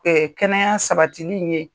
kɛnɛya sabatili in ye